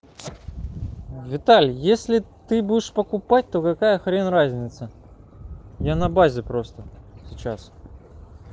виталий если ты будешь покупать то какая хрен разница я на базе просто сейчас